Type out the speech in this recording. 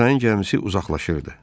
Abişayın gəmisi uzaqlaşırdı.